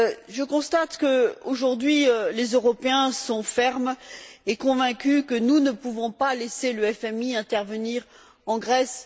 Je constate qu'aujourd'hui, les Européens sont fermes et convaincus que nous ne pouvons pas laisser le FMI intervenir en Grèce.